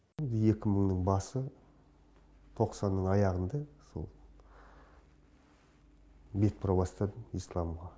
екі мыңның басы тоқсанның аяғында сол бет бұра бастадым исламға